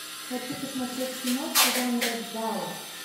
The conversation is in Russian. хочу посмотреть киношку жанра джалло